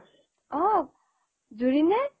অ জুৰি নে